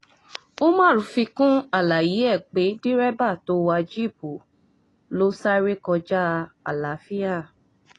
umar fi kún àlàyé ẹ̀ pé dẹ́rẹ́bà tó wà jíìpù ló sáré kọjá àlàáfíà